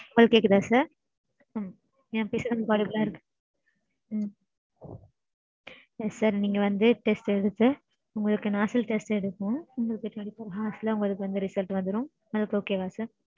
உங்களுக்கு கேக்குதா sir? நா பேசறது volumable லா இருக்கு. உம் yes sir நீங்க வந்து test எடுத்து உங்களுக்கு nostril எடுக்கனும். உங்களுக்கு twenty four hours ல உங்களுக்கு result வந்துரும் அதுக்கு okay வா sir?